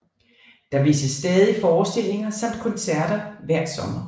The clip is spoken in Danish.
Der vises stadig forstillinger samt koncerter hver sommer